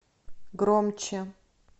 громче